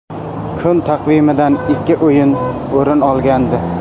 Kun taqvimidan ikki o‘yin o‘rin olgandi.